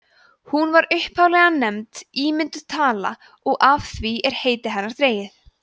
hún var upphaflega nefnd ímynduð tala og af því er heiti hennar dregið